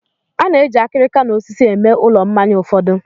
A na-eji akịrịka na osisi eme ulọ mmanya ụfọdụ.